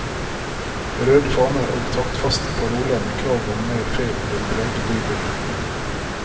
Røde faner og taktfaste paroler med krav om mer ferie vil prege bybildet.